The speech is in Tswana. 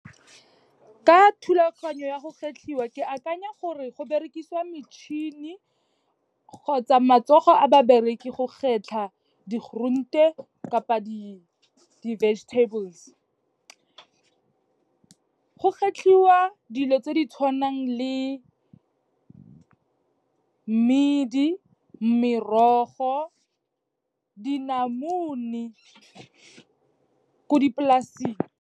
Ka thulaganyo ya go kgetlhiwa, ke akanya gore go berekisiwa metšhini kgotsa matsogo a babereki go kgetlha di-groente kapa di-vegetables. Go kgetlhiwa dilo tse di tshwanang le medi, merogo, dinamune ko di-plas-eng.